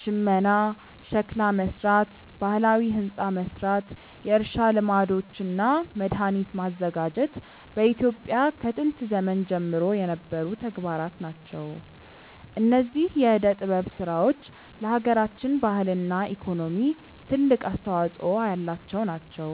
ሽመና፣ ሸክላ መስራት፣ ባህላዊ ህንፃ መስራት፣ የእርሻ ልማዶች እና መድሃኒት ማዘጋጀት በኢትዮጵያ ከጥንት ዘመን ጀምሮ የነበሩ ተግባራት ናቸው። እነዚህ የዕደ ጥበብ ስራዎች ለሃገራችን ባህልና ኢኮኖሚ ትልቅ አስተዋጾ ያላቸው ናቸው።